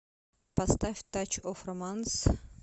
поставь тач оф романс